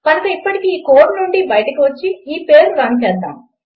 కనుక ఇప్పటికి ఈ కోడ్నుండి బయటకు వచ్చి ఈ పేజ్ రన్ చేస్తాను